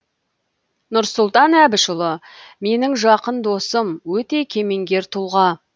нұрсұлтан әбішұлы менің жақын досым өте кемеңгер тұлға